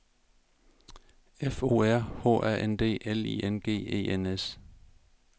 F O R H A N D L I N G E N S